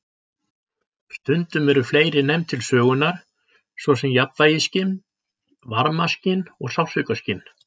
Stundum eru fleiri nefnd til sögunar, svo sem jafnvægisskyn, varmaskyn og sársaukaskyn.